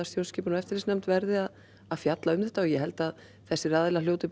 stjórnskipunar og eftirlitsnefnd verði að að fjalla um þetta og ég held að þessir aðilar hljóti